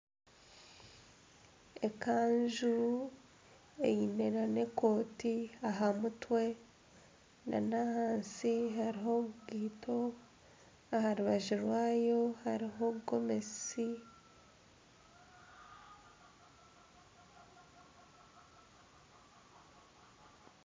Ekanju eine na ekooti aha mutwe n'ahansi hariho enkaito , aha rubaju rwayo hariho gomesi.